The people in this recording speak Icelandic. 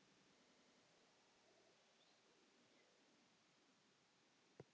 Hún hvessti sjónum á Stefán.